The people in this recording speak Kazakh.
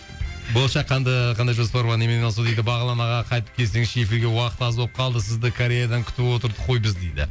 болашақ қандай жоспар бар немен айналысу дейді бағлан аға қайтып келсеңізші эфирге уақыт аз болып қалды сізді кореядан күтіп отырдық қой біз дейді